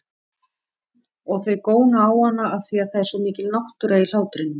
Og þau góna á hana afþvíað það er svo mikil náttúra í hlátrinum.